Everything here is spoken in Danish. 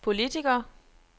politiker